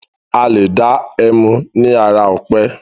Alé dá ẹmu ni ara ọ̀pẹ.